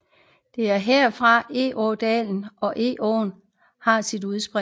Det er herfra Egådalen og Egåen har sit udspring